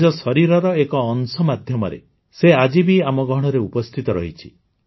ନିଜ ଶରୀରର ଏକ ଅଂଶ ମାଧ୍ୟମରେ ସେ ଆଜି ବି ଆମ ଗହଣରେ ଉପସ୍ଥିତ ରହିଛି